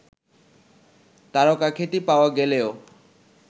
তারকাখ্যাতি পাওয়া গেলেও